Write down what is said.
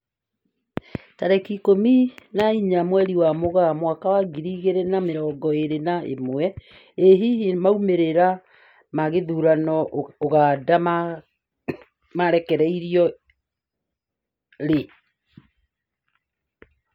Tarĩki ikũmi na inya mweri wa Mũgaa mwaka wa ngiri igĩri na mĩrongo ĩri na ĩmwe, ĩ hihi maumĩrĩra ma gĩthurano Uganda makarekererio rĩ?